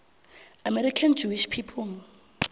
american jewish people